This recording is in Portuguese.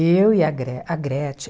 Eu e a Gre a Gretchen.